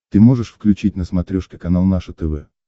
ты можешь включить на смотрешке канал наше тв